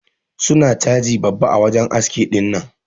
Su na caji babba a wajen aski dinnan.